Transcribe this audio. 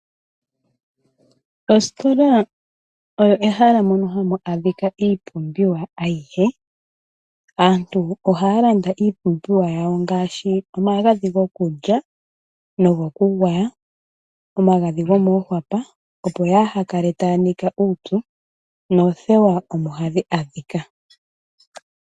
Ositola olyo ehala ndyoka hali landitha iipumbiwa ya yooloka ngaashi omagadhi gokulya, omagadhi gokugwaya nosho woo omagadhi gomoohwapa ngono haga kwathele aantu ka ya nike uupyu. Ohamu adhika woo oothewa dhokwiiyoga.